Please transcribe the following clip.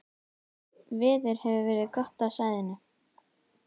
Veður hefur verið gott á svæðinu